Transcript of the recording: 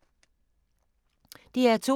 DR2